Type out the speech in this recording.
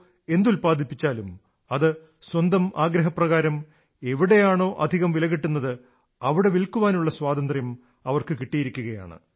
എന്തുത്പാദിപ്പിച്ചാലും അത് സ്വന്തം ആഗ്രഹപ്രകാരം എവിടെയാണോ അധികം വില കിട്ടുന്നത് അവിടെ വില്ക്കാനുള്ള സ്വാതന്ത്ര്യം അവർക്ക് കിട്ടിയിരിക്കയാണ്